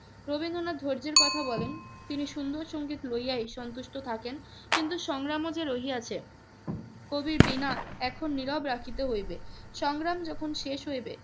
রবীন্দ্রনাথ ধৈর্যের কথা বলেন তিনি সুন্দর সংগীত লইয়াই সন্তুষ্ট থাকেন কিন্তু সংগ্রাম যে রহিয়াছে। কবির বীণা এখন নীরব রাখিতে হইবে। সংগ্রাম যখন শেষ হইবে